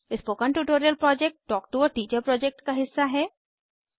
spoken tutorial project talk to a teacher project का हिस्सा है